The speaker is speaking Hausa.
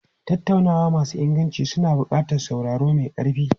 Tattaunawa masu inganci suna buƙatar sauraro mai ƙarfi.